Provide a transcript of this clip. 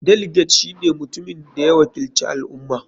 Delegate shine mutumin da ya wakilci al ummah.